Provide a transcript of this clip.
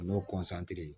O n'o